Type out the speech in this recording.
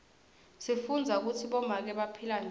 sifundza kutsi bomake baphila njani